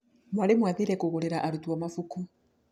Mwarimũ aathire kũgũrĩra arutwo mabuku.